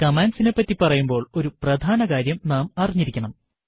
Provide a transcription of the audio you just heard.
കമാൻഡ്സിനെപ്പറ്റി പറയുമ്പോൾ ഒരു പ്രധാനകാര്യം നാം അറിഞ്ഞിരിക്കേണം